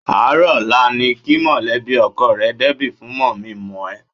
Àárọ̀ ọ̀la ni kí mọ̀lẹ́bí ọkọ rẹ débi fún mọ̀-mí-n-mọ̀-ẹ́.